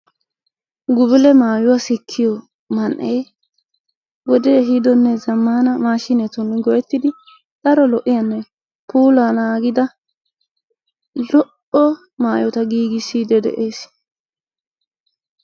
Gubule maayuwa sikkiyo man"ee wode ehiidonne zammaana maashiinetun go'ettidi daro lo'iyanne puulaa naagida lo"o maayota giigissiiddi de'ees.